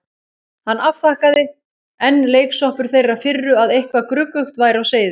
Hann afþakkaði, enn leiksoppur þeirrar firru að eitthvað gruggugt væri á seyði.